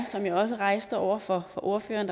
som jeg også rejste spørgsmålet over for ordføreren